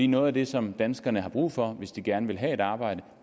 noget af det som danskerne har brug for hvis de gerne vil have et arbejde